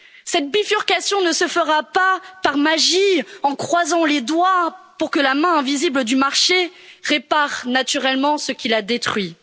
Cette bifurcation ne se fera pas par magie, en croisant les doigts pour que la main invisible du marché répare naturellement ce qu'il a détruit.